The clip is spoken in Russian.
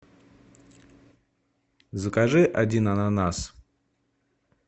закажи один ананас